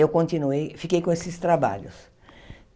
Eu continuei, fiquei com esses trabalhos.